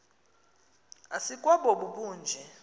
asikwa bobu bunje